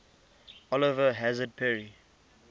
oliver hazard perry